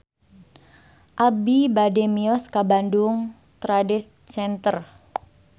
Abi bade mios ka Bandung Trade Center